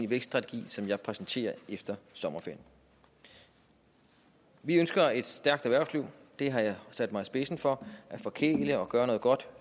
vækststrategi som jeg præsenterer efter sommerferien vi ønsker et stærkt erhvervsliv det har jeg sat mig i spidsen for at forkæle og gøre noget godt